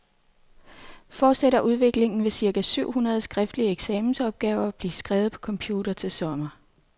Fortsætter udviklingen, vil cirka syv hundrede skriftlige eksamensopgaver blive skrevet på computer til sommer.